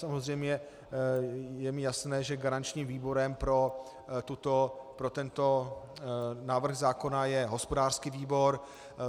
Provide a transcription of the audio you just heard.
Samozřejmě je mi jasné, že garančním výborem pro tento návrh zákona je hospodářský výbor.